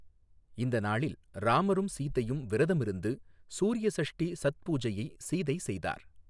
இந்த நாளில் ராமரும் சீதையும் விரதமிருந்து சூர்ய சஷ்டி சத் பூஜையை சீதை செய்தார்.